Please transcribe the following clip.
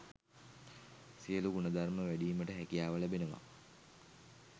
සියලු ගුණධර්ම වැඩීමට හැකියාව ලැබෙනවා.